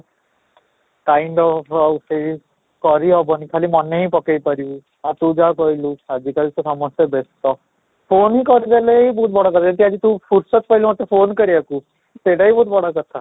kind up ଆଉ ସେଇ କରି ହବନି ଖାଲି ମନେ ହିଁ ପକେଇ ପାରିବି, ଆଉ ତୁ ଯାହା କହିଲୁ ଆଜିକାଲି ତ ସମସ୍ତେ ବ୍ୟସ୍ତ, phone ହିଁ କରିଦେଲେ ହିଁ ବହୁତ ବଡ କଥା ସେ ତୁ ଆଜି ଫୁରସତ ପାଇଲୁ ମତେ phone କରିବାକୁ ସେଇଟା ବି ବହୁତ ବଡ଼ କଥା